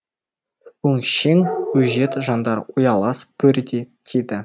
өңшең өжет жандар ұялас бөрідей тиді